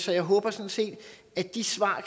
jeg håber sådan set at de svar